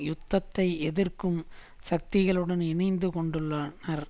யுத்தத்தை எதிர்க்கும் சக்திகளுடன் இணைந்து கொண்டுள்ளனர்